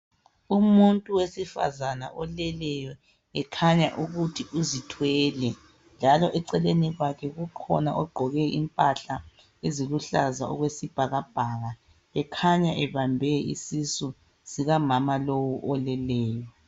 Umuntu wesifazana oleleyo, ekhanya ukuthi uzithwele. Njalo eceleni kwakhe kukhona ogqoke impahla eziluhlaza okwesibhakabhaka ekhanya ebambe isisu sikamama lowu oleleyo.